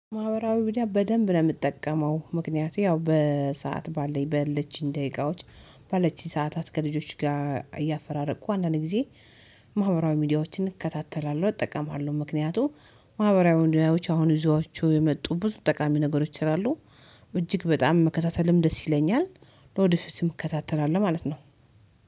ማህበራዊ ሚዲያ በደንብ ነው የምጠቀመው ምክንያቱም ያው በሰአት ባለን በለችኝ ደቂቃዎች ባለችኝ ሰዓታት ከልጆች ጋር እያፈራረቅኩ አንዳንድ ጊዜ። ማህበራዊ ሚዲያዎችን እከታተላለሁ እጠቀማለሁ ምክንያቱም ማህበራዊ ሚዲያዎች አሁን ይዘዋቸው የመጡ ብዙ ጠቃሚ ነገሮች እላሉ እጅግ በጣም መከታተልም ደስ ይለኛል። ለወዲፊቱም እከታተላለሁ ማለት ነው።